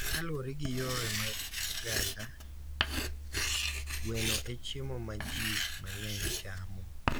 Kaluwore gi yore mag oganda, gweno e chiemo ma ji mang’eny chamo,